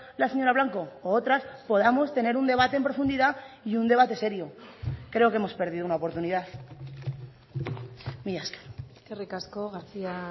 la señora blanco u otras podamos tener un debate en profundidad y un debate serio creo que hemos perdido una oportunidad mila esker eskerrik asko garcía